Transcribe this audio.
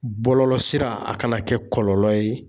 Bɔlɔlɔ sira, a kana kɛ kɔlɔlɔ ye ,